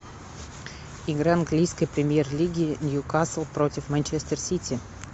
игра английской премьер лиги ньюкасл против манчестер сити